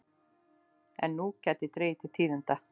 En nú gæti dregið til tíðinda.